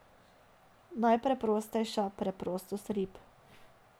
Najpreprostejša preprostost rib.